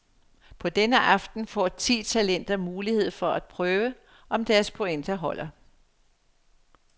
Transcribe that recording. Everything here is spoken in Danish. På denne aften får ti talenter mulighed for at prøve, om deres pointer holder.